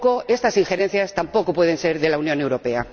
Estas injerencias tampoco pueden ser de la Unión Europea.